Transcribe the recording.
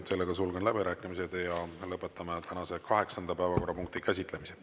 Sellega sulgen läbirääkimised ja lõpetame tänase kaheksanda päevakorrapunkti käsitlemise.